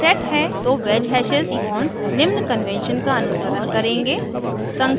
यदि set है तो wedge हैशेस bonds निम्न convention का अनुसरण करेंगे